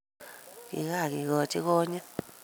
kikakekochi konyit